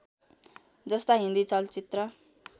जस्ता हिन्दी चलचित्र